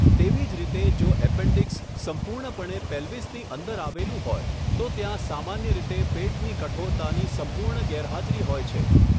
તેવી જ રીતે, જો એપેન્ડિક્સ સંપૂર્ણપણે પેલ્વિસની અંદર આવેલું હોય, તો ત્યાં સામાન્ય રીતે પેટની કઠોરતાની સંપૂર્ણ ગેરહાજરી હોય છે.